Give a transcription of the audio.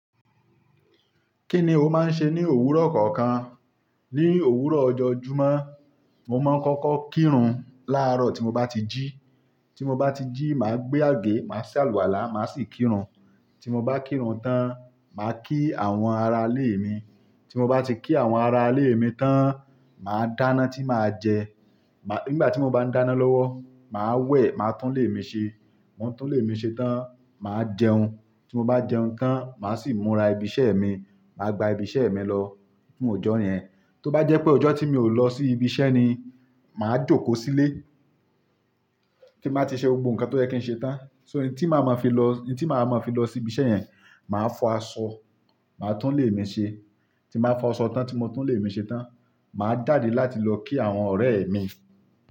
Kí ni o máa ń ṣe ní òwúrọ̀ kọ̀ọ̀kan? Ní òwúrọ̀ ọjọ́ Jímọ̀, mo máa ń kọ́kọ́ kírun láàrọ̀ tí mo bá ti jí. Tí mo bá ti jí, màá gbé àgé, màá ṣe àlùwàlá, màá sì kírun. Tí mo bá kírun tán, màá kí àwọn ará ilé mi. Tí mo bá ti kí àwọn ará ilé mi tán, màá dáná tí màá jẹ. Má-- nígbà tí mo bá dáná lọ́wọ́, màá wẹ̀, màá túnlé mi ṣe. Mo túnlé mi ṣe tán, màá jẹun. Tí mo bá jẹun tán, màá sì múra ibi iṣẹ́ mi. Màá gba ibi iṣẹ́ mi lọ fún ọjọ́ yẹn. Tó bá jẹ́ pé ọjọ́ tí mi ò lọ sí ibi iṣẹ́ ni, màá jókòó sílé tí n baá ti ṣe gbogbo nǹkan tó yẹ kí n ṣe tán. So, in tí màá máa fi lọ, in tí màá máa fi lọ sí ibi iṣẹ́ yẹn, màá fọ aṣọ, màá túnlé mi ṣe. Tí n bàá fọ aṣọ tán, tí mo túnlé mi ṣe tán, màá jàde láti lọ kí àwọn ọ̀rẹ́ mi.